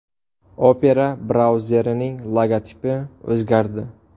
Opera brauzerining logotipi o‘zgardi.